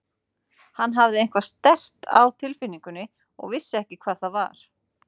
Hann hafði eitthvað sterkt á tilfinningunni en vissi ekki hvað það var.